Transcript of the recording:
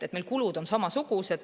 Meil kulud on samasugused.